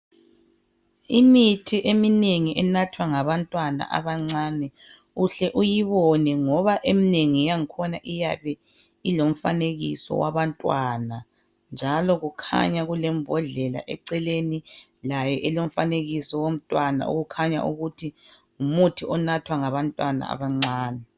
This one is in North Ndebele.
Imithi eminengi enathwa ngabantwana abancane, uhle uyibone ngoba emnengi yakhona iyabe ilomfanekiso wabantwana, njalo kukhanya kulembodlela eceleni layo elomfanekiso womntwana okhanya ukuthi ngumuthi onathwa ngabantwana abancane.